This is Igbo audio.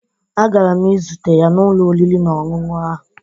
Agara m izute ya n'ụlọ oriri na ọṅụṅụ ahụ